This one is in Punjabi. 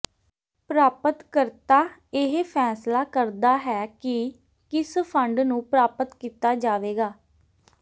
ਪ੍ਰਾਪਤਕਰਤਾ ਇਹ ਫੈਸਲਾ ਕਰਦਾ ਹੈ ਕਿ ਕਿਸ ਫੰਡ ਨੂੰ ਪ੍ਰਾਪਤ ਕੀਤਾ ਜਾਵੇਗਾ